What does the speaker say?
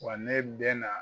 Wa ne bɛ na